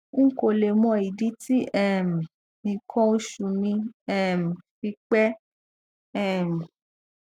n kò le mọ ìdí tí um nǹkan oṣù mi um fi pẹ um